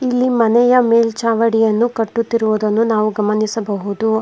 ಇಲ್ಲಿ ಮನೆಯ ಮೇಲ್ಚಾವಣಿಯನ್ನು ಕಟ್ಟುತ್ತಿರುವುದನ್ನು ನಾವು ಗಮನಿಸಬಹುದು.